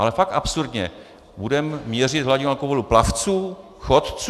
Ale fakt absurdně budeme měřit hladinu alkoholu plavců, chodců?